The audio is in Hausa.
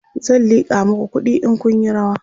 zan liƙa maku kuɗi in Kun Yi rawa